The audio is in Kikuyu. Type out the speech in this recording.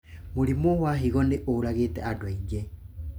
Mũrimũ wa higo nĩ ũragĩte andũ aingĩ